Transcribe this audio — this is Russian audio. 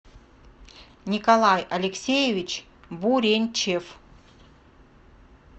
николай алексеевич буренчев